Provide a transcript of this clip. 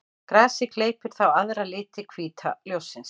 Grasið gleypir þá aðra liti hvíta ljóssins.